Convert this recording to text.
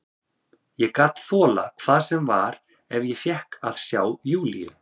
Ég gat þolað hvað sem var ef ég fékk að sjá Júlíu.